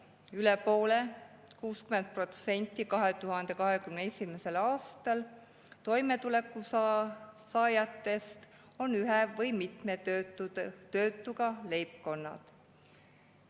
2021. aastal oli üle poole ehk 60% toimetuleku saajatest ühe või mitme töötuga leibkonnad.